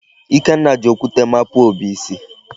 Ikenna ji okwute mapuo Obi isi.